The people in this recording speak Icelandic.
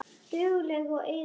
Dugleg og iðin.